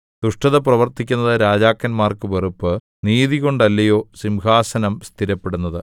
ദുഷ്ടത പ്രവർത്തിക്കുന്നത് രാജാക്കന്മാർക്ക് വെറുപ്പ് നീതികൊണ്ടല്ലയോ സിംഹാസനം സ്ഥിരപ്പെടുന്നത്